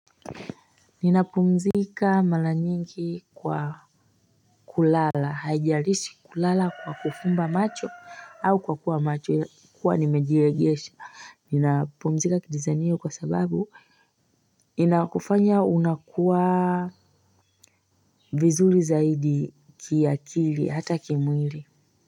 Ninapumzika mara nyingi kwa kulala haijalishi kulala kwa kufumba macho au kwa kuwa macho kuwa nimejiegesha. Ninapumzika kidesign hiyo kwa sababu inakufanya unakuwa vizuri zaidi kiakili hata kimwili.